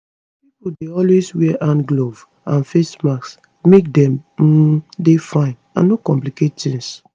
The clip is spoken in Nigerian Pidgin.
pipo dey always wear hand gloves and face masks make dem um dey fine and no complicate tings